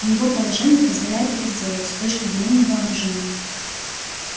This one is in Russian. и его положение позволяет это сделать с точки зрения вооружения